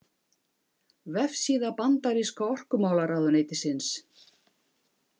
Vefsíða Bandaríska orkumálaráðuneytisins.